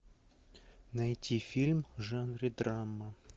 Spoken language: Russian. найти фильм в жанре драма